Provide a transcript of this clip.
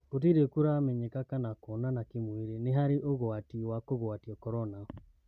Gũtirĩ kũramenyeka kana kuonana kĩmwĩri nĩharĩ ũgwati wa kũgwatio Korona.